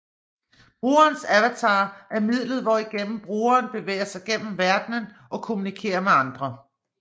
Brugerens avatar er midlet hvorigennem brugeren bevæger sig gennem verdenen og kommunikerer med andre